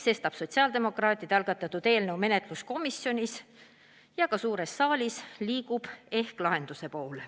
Sestap sotsiaaldemokraatide algatatud eelnõu menetlus komisjonis toimub, see liigub ka suures saalis ja leiab ehk lahenduse.